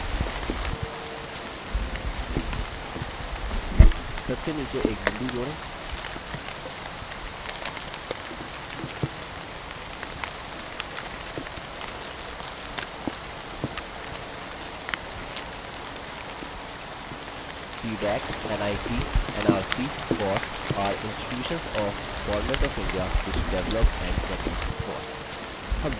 सबसे नीचे एक बिंदु जोड़ें cdac nic nrcfoss are institutions of government of india which develop and promote foss